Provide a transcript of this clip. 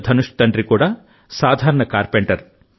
ధనుష్ తండ్రి కూడా సాధారణ కార్పెంటర్